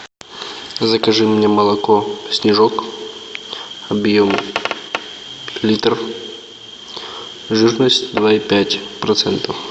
закажи мне молоко снежок объем литр жирность два и пять процентов